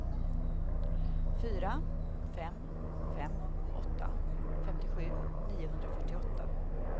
fyra fem fem åtta femtiosju niohundrafyrtioåtta